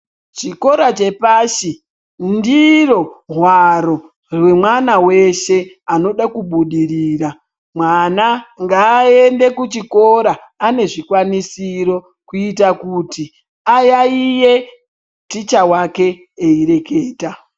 Chikora chepashi ndiro hwaro rwemwana weshe unoda kubudirira. Mwana ngaaende kuchikora ane zvikwanisiro kuita kuti ayaiye ticha wake eyireketa.